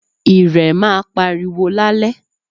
Ìrẹ̀ maa pariwo lálẹ́